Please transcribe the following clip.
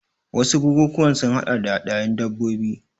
Wasu bukukuwan sun haɗa da hadayun dabbobi.